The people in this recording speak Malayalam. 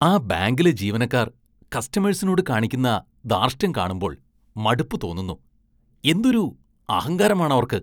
ആ ബാങ്കിലെ ജീവനക്കാര്‍ കസ്റ്റമേഴ്സിനോട് കാണിക്കുന്ന ധാര്‍ഷ്ട്യം കാണുമ്പോള്‍ മടുപ്പ് തോന്നുന്നു. എന്തൊരു അഹങ്കാരമാണവര്‍ക്ക്